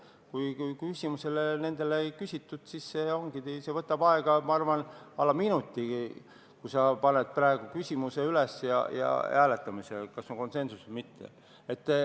Kui küsimusi ei küsita, siis see võtab aega, ma arvan, alla minuti, näiteks kui sa paned praegu küsimuse hääletamisele, et kas on konsensus või mitte.